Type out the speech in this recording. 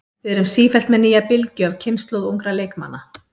Við erum sífellt með nýja bylgju af kynslóð ungra leikmanna.